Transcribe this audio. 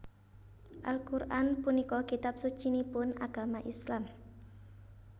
Al Qur an punika kitab sucinipun agama Islam